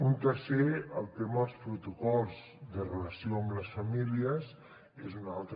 un tercer el tema dels protocols de relació amb les famílies és un altre